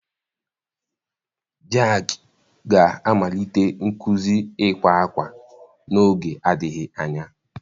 Jack ga-amalite nkuzi ịkwa akwa n'oge adịghị anya